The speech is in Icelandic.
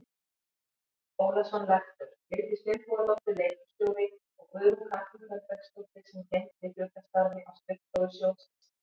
Ólason lektor, Vigdís Finnbogadóttir leikhússtjóri og Guðrún Katrín Þorbergsdóttir sem gegndi hlutastarfi á skrifstofu sjóðsins.